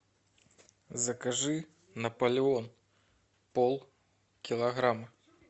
закажи наполеон полкилограмма